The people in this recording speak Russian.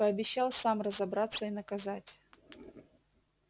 пообещал сам разобраться и наказать